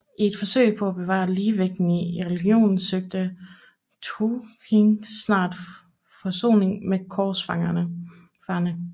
I et forsøg på at bevare ligevægten i regionen søgte Tughtekin snart forsoning med korsfarerne